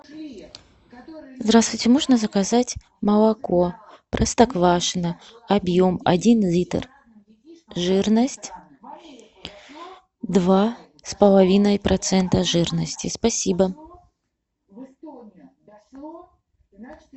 здравствуйте можно заказать молоко простоквашино объем один литр жирность два с половиной процента жирности спасибо